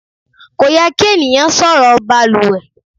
Kò yẹ kí ènìyàn sọ̀rọ̀ baluwẹ̀.